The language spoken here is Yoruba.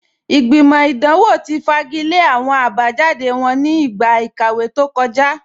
Ìgbìmọ̀ idanwọ̀ ti fagilẹ̀ awọn abajáde wọn ní igba ikàwé tó kọ̀já